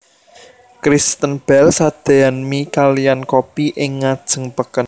Kristen Bell sadeyan mie kaliyan kopi ing ngajeng peken